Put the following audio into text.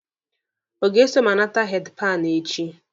Ọ ga-eso m anata heedi panụ echi?